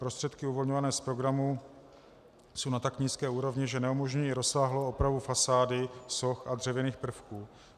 Prostředky uvolňované z programu jsou na tak nízké úrovni, že neumožňují rozsáhlou opravu fasády, soch a dřevěných prvků.